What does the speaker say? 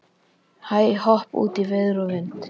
Hæ-hopp út í veður og vind.